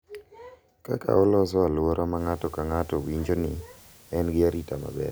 Kaka oloso alwora ma ng’ato ka ng’ato winjo ni en gi arita maber